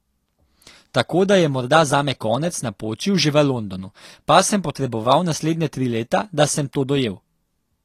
Tako da je morda zame konec napočil že v Londonu, pa sem potreboval naslednja tri leta, da sem to dojel.